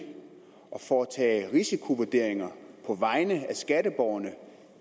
at foretage risikovurderinger på vegne af skatteborgerne